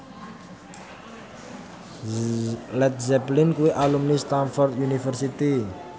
Led Zeppelin kuwi alumni Stamford University